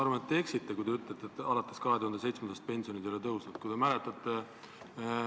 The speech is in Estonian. Ma arvan, et te eksisite, kui te ütlesite, et alates 2007. aastast ei ole pensionid tõusnud.